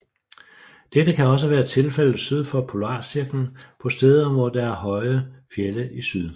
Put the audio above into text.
Dette kan også være tilfældet syd for polarcirklen på steder hvor der er høje fjelde i syd